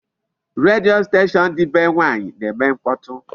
Redio station dị be nwaanyị na-eme mkpọtụ.